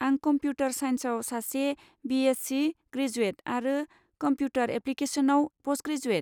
आं कमप्युटार साइन्सआव सासे बि.एससि. ग्रेजुएट आरो कमप्युटार एप्लिकेशनआव पस्टग्रेजुएट।